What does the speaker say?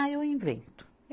Ah, eu invento.